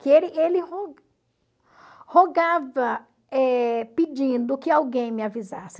Que ele ele ro rogava eh pedindo que alguém me avisasse.